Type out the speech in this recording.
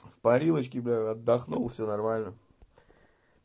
в парилочке бля отдохнул всё нормально